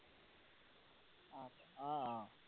অ, অ।